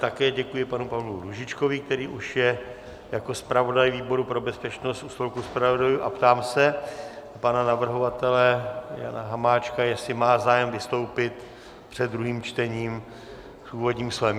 Také děkuji panu Pavlu Růžičkovi, který už je jako zpravodaj výboru pro bezpečnost u stolku zpravodajů, a ptám se pana navrhovatele Jana Hamáčka, jestli má zájem vystoupit před druhým čtením s úvodním slovem.